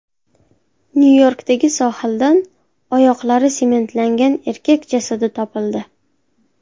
Nyu-Yorkdagi sohildan oyoqlari sementlangan erkak jasadi topildi.